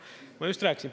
Ma just rääkisin.